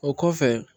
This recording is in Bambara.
O kɔfɛ